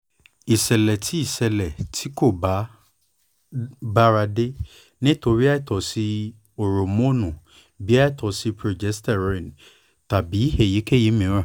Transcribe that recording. ìṣẹ̀lẹ̀ tí ìṣẹ̀lẹ̀ tí kò bára dé nítorí àìtọ́sí hórómóònù bíi àìtọ́sí prógésítérónì tàbí èyíkéyìí mìíràn